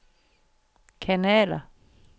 kanaler